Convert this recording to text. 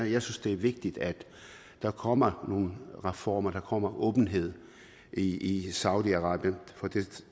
jeg synes det er vigtigt at der kommer nogle reformer at der kommer åbenhed i i saudi arabien for